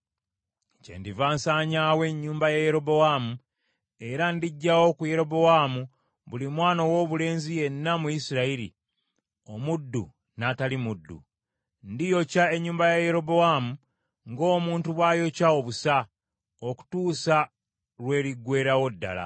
“ ‘Kyendiva nsanyaawo ennyumba ya Yerobowaamu, era ndiggyawo ku Yerobowaamu buli mwana owoobulenzi yenna mu Isirayiri, omuddu n’atali muddu. Ndiyokya ennyumba ya Yerobowaamu, ng’omuntu bw’ayokya obusa, okutuusa lwe liggweerawo ddala.